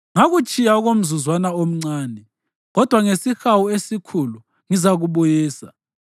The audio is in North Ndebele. “Ngakutshiya okomzuzwana omncane, kodwa ngesihawu esikhulu ngizakubuyisa.